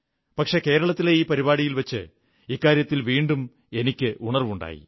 പക്ഷേ കേരളത്തിലെ ഈ പരിപാടിയിൽ വച്ച് ഇക്കാര്യത്തിൽ വീണ്ടും എനിക്കുണർവ്വുണ്ടായി